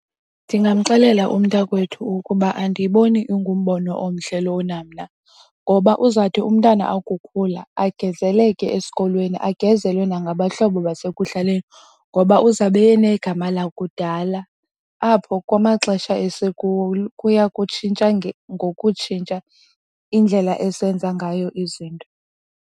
Ndingamxelela umntakwethu ukuba andiyiboni ingumbono omhle lowo na mna ngoba uzawuthi umntana akukhula agezeleke esikolweni agezelwe nangabahlobo basekuhlaleni, ngoba uzawube enegama lakudala apho kwamaxesha esikuwo kuya kutshintsha ngokutshintsha indlela esenza ngayo izinto.